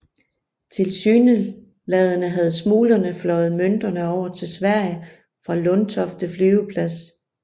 Tilsyneladende havde smuglerne fløjet mønterne over til Sverige fra Lundtofte Flyveplads